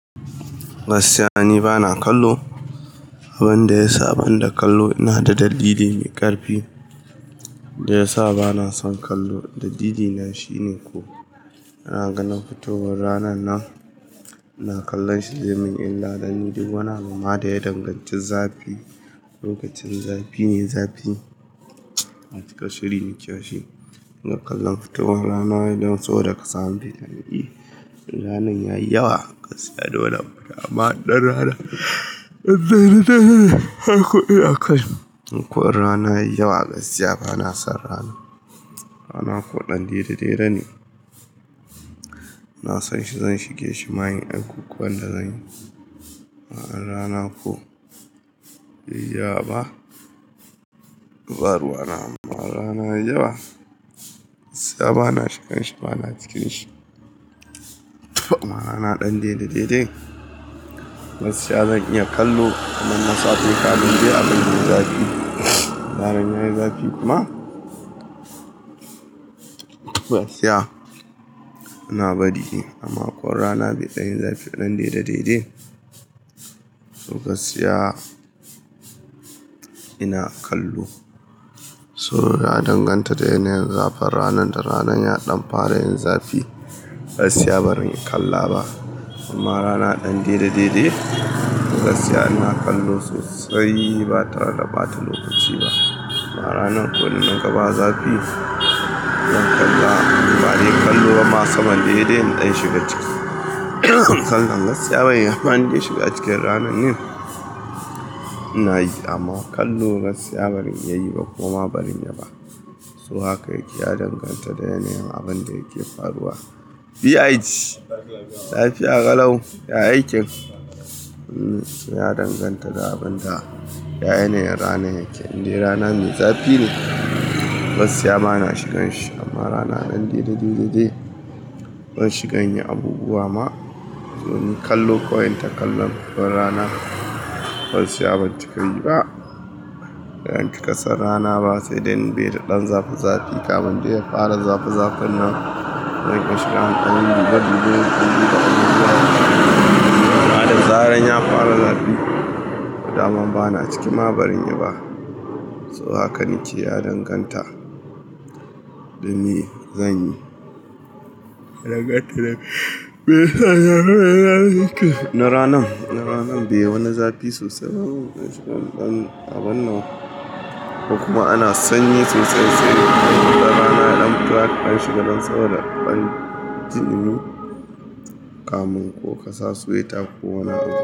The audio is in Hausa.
Gaskiya, ni bana kallo. Abin da ya sa ban da kallo ina da dalili mai ƙarfi. Daya ya sa bana son kallo dalilina shine ko. Ina ganin fitowar ranar nan ina kallon shi zaimin illa duk wani abuma da ya danganci zafi. Lokacin zafi ne zafi. Na cika shiri na kiyashi. Ina kalla fitowar rana idan saboda ka samu fitan iri. Ranar ya yi yawa. Gaskiya dole mu yi amma dan ranar ɗan ranar ko'ina ka je. Koi rana ya yi yawa gaskiya bana son rana. Rana ko dan dere dere ne. Na san shi zan shige shi. Ma yin abubuwan da zan yi. Amma rana ko baiyi yawa ba, to baruwana. Amma rana ya yi yawa, gaskiya bana shigan shi bana ciki da shi. Amma rana ɗan daidai gaskiya zan iya kallo. Amma masu aikin kafinta abin da ya zafi. Zaran yayi zafi kuma. Gaskiya ana bari dai amma ko rana baiɗayi zafi ɗan daidai daidai to gaskiya ina kallo. So ya danganta da yanayin zafin rana da ranar ya ɗan fara yin zafi. Gaskiya barin kalla ba amma rana ɗan daidai daidai gaskiya ina kallo sosai ba tare da ɓata lokaci ba. Amma ranar ko innaga ba zafi zan kalla ba dai kallo ba ma saman saidai in ɗan shiga ciki. Kalla gaskiya ban iya amfani da shiga cikin ranar yau ina yi amma kallo gaskiya barin iya yi ba koma bazanyi yaba. So haka yake ya danganta da yanayin abin da yake faruwa. Lafiya ƙalau, ya aikin. Ya danganta da abin da, da yanayin ranar yake. Inde rana mai zafi ne gaskiya bana shigan shi amma rana ɗan daidai daidai ban shigan yi abubuwa ma. To kallo kawai in ta kalla. Rana gaskiya ban cika yi ba. Idan ki ka san rana ba sai dai in bai da ɗan zafi zafi. Kamun dai ya fara zafi zafin nan. Zan iya shiga ƙananan dubu dubu. Zaran ya fara zafi. Da dama bana ciki ma baran yi ba. So hakan yake ya danganta da ni zan yi. Na ranan, na ranan bai wani zafi sosai. Abun nan kuma ana sanyi sosai sai ranar ɗan tashi ban shiga saboda in dan ji dumi kamun ko kasa suyi ta ko wani abu.